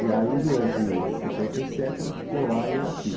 E aí durante setenta e sete ela ficou lá e eu aqui.